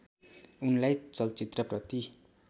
उनलाई चलचित्रप्रति